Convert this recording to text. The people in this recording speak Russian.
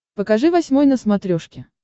покажи восьмой на смотрешке